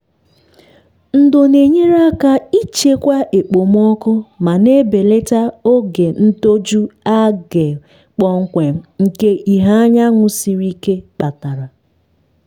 ndo na-enyere aka ịchịkwa okpomọkụ ma na-ebelata oge ntoju algae kpọmkwem nke ìhè anyanwụ siri ike kpatara.